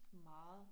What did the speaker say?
Meget